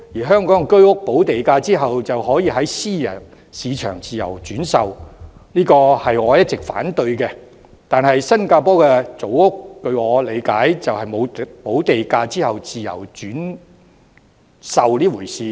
香港居屋補地價後便可在私人市場自由轉售，這是我一直反對的；但據我理解，新加坡的組屋並沒有補地價後自由轉售這回事。